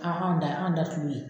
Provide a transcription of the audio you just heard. hanw da anw da sulu ye